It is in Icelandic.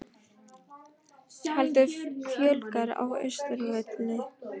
Heldur fjölgar á Austurvelli